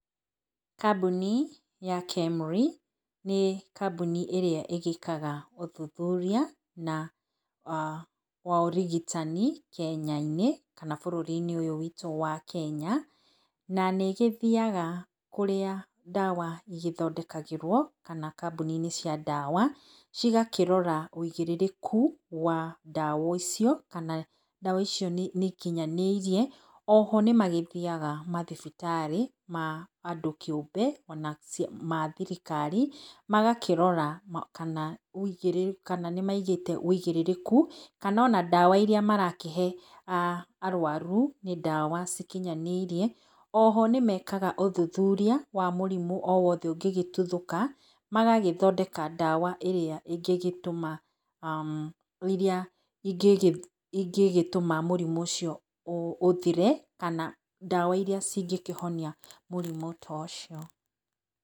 Kambuni ya KEMRI, nĩ kambuni ĩrĩa ĩgĩkaga ũthũthũria, na wa ũrigitani Kenya-inĩ, kana bũrũri-inĩ ũyũ witũ wa Kenya, na nĩ ĩgĩthiaga kũrĩa ndawa igĩthondekagĩrwo, kana kambuni-inĩ cia ndawa, cigakĩrora ũigĩrĩrĩku wa ndawa icio, kana ndawa icio nĩ ikinyanĩirie. O ho nĩmagĩthiaga mathibitarĩ ma andũ kĩũmbe, ona mathirikari, magakĩrora kana nĩ maigĩte ũigĩrĩrĩku, kana ona ndawa irĩa marakĩhe arwaru, nĩ ndawa ikinyanĩirie. O ho nĩmekaga ũthuthuria wa mũrimũ, o wothe ũngĩgĩtuthũka, magagĩthondeka ndawa ĩrĩa ingĩgĩtũma, iria ingĩgĩtũma mũrimũ ũcio ũthire, kana ndawa iria cingĩkĩhonia mũrimũ to cio.